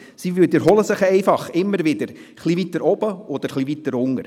Diese wiederholen sich einfach immer wieder etwas weiter oben oder etwas weiter unten.